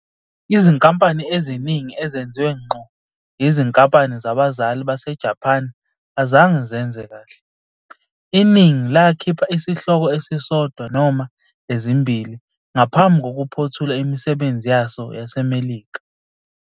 Izinkampani eziningi ezenziwe ngqo yizinkampani zabazali baseJapan azange zenze kahle, iningi lakhipha isihloko esisodwa noma ezimbili ngaphambi kokuphothula imisebenzi yazo yaseMelika.